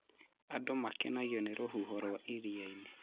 Andũ makenagio nĩ rũhuho rwa irianĩ